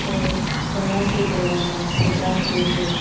और बड़ा से दरवाजा सजा के है।